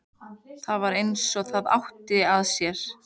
Það var eins og það átti að sér.